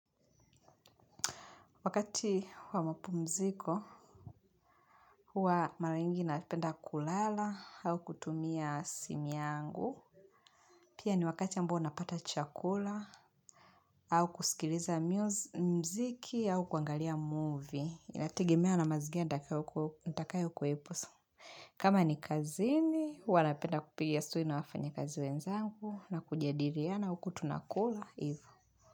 Wakati wa mapumziko, huwa mara nyingi napenda kulala au kutumia simu yangu. Pia ni wakati ambao napata chakula au kusikiliza mziki au kuangalia movie. Inatigemea na mazigira ndakayo kuwepo. Kama ni kazini, huwa napenda kupigia story na wafanyi kazi wenzangu na kujadiriana au kutunakula.